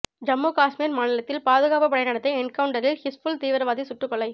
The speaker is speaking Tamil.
ஜம்மு காஷ்மீர் மாநிலத்தில் பாதுகாப்பு படை நடத்திய என்கவுண்டரில் ஹிஸ்புல் தீவிரவாதி சுட்டுக்கொலை